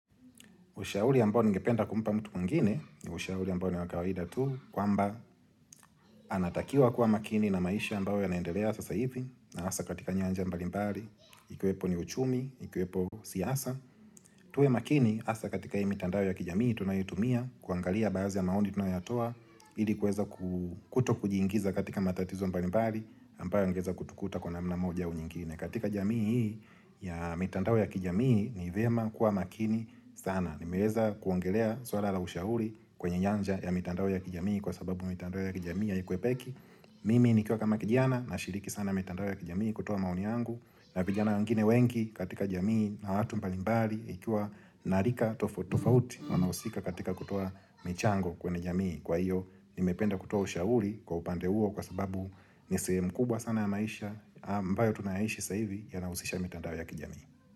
Ushauri ambao ningependa kumpa mtu mwingine, ushauri ambao ni wakawahida tu, kwamba anatakiwa kuwa makini na maisha ambao yanaendelea sasa ivi, na asa katika nyanja mbalimbali, ikiwepo ni uchumi, ikiwepo siyasa, tuwe makini asa katika hii mitandao ya kijamii tunayotumia, kuangalia baazi ya maoni tunayatoa, ili kweza kutokujiingiza katika matatizo mbalimbali, ambao angeza kutukuta kwa namna moja au nyingine. Katika jamii hii ya mitandao ya kijamii ni vema kuwa makini sana nimeweza kuongelea swala la ushauri kwenye nyanja ya mitandao ya kijamii kwa sababu mitandao ya kijamii haikwepeki Mimi nikiwa kama kijiana nashiriki sana mitandao ya kijamii kutowa mauni yangu na vijana wangine wengi katika jamii na watu mbalimbali ikua narika tofauti tofauti Wanausika katika kutowa michango kwenye jamii Kwa hiyo nimependa kutowa ushauri kwa upande huo kwa sababu nisehemu kubwa sana ya maisha ambayo tunaishi sasa hivi yanausisha mitandao ya kijamii.